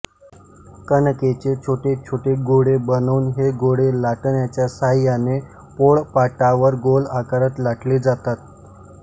कणकेचे छोटे छोटे गोळे बनवून हे गोळे लाटण्याच्या साहाय्याने पोळपाटावर गोल आकारात लाटले जातात